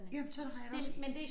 Jamen sådan har jeg det også